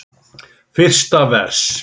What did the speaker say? Fyrsta vers.